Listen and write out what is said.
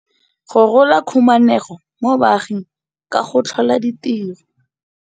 Go rola khumanego mo baaging ka go tlhola ditiro.